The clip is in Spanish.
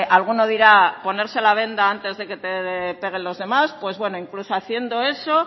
alguno dirá ponerse la venda antes de que te peguen los demás pues bueno incluso haciendo eso